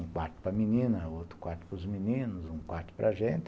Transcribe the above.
Um quarto para menina, outro quarto para os meninos, um quarto para a gente.